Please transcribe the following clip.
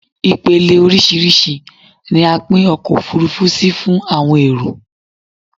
Ipele orísírìsí ni a pin ọkò òfurufú si fún àwọn èrò